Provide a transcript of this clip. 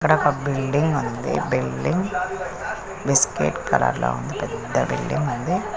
ఇక్కడొక బిల్డింగ్ ఉంది. ఆ బిల్డింగ్ బిస్కెట్ కలర్లో ఉంది. పెద్ద బిల్డింగ్ ఉంది.